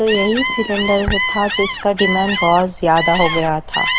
तो यही सिलेंडर था जिसका डिमांड बहुत ज़्यादा हो गया था।